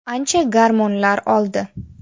Ancha gormonlar oldi.